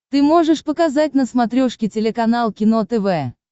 ты можешь показать на смотрешке телеканал кино тв